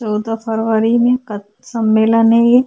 चौदह फरवरी है का सम्मलेन है ये।